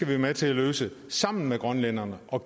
være med til at løse sammen med grønlænderne og